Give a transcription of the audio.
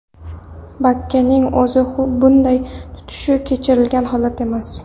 Bakkaning o‘zini bunday tutishi kechiriladigan holat emas.